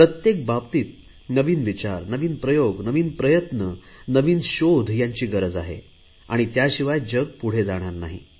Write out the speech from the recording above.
प्रत्येक बाबतीत नवीन विचार नवीन प्रयोग नवीन प्रयत्न नवीन शोध यांची गरज आहे त्याशिवाय जग पुढे जाणार नाही